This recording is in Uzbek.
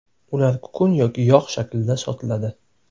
Ular kukun yoki yog‘ shaklida sotiladi.